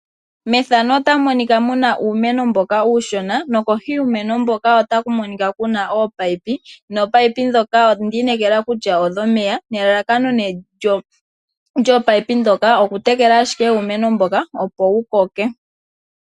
Methano ota mu monika muna uumeno mboka uushona. Kohi yuumeno mboka ota ku monika kuna oopayipi. Oopayipi ndhoka odho meya nelalakano lyoopayipi ndhoka oku tekela ashike uumeno mboka opo wukoke.